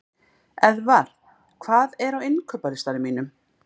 Eðvar, hvað er á innkaupalistanum mínum?